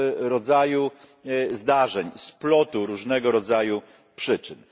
rodzaju zdarzeń, splotu różnego rodzaju przyczyn.